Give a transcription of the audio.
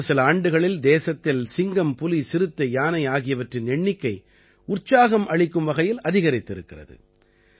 கடந்த சில ஆண்டுகளில் தேசத்தில் சிங்கம் புலி சிறுத்தை யானை ஆகியவற்றின் எண்ணிக்கை உற்சாகம் அளிக்கும் வகையில் அதிகரித்திருக்கிறது